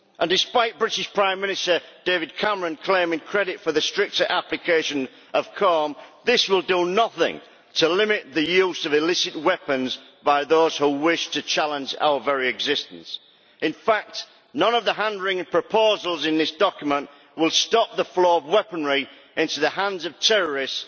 Despite the British Prime Minister, David Cameron, claiming credit for the stricter application of COARM criteria, this will do nothing to limit the use of illicit weapons by those who wish to challenge our very existence. In fact, none of the hand-wringing proposals in this document will stop the flow of weaponry into the hands of terrorists